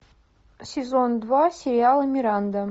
сезон два сериал миранда